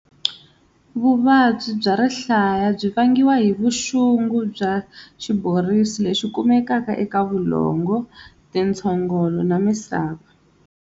Vuvabyi bya rihlaya byi vangiwa hi vuxungu bya xiborisi lexi kumeka eka vulongo-tintshogolo na misava.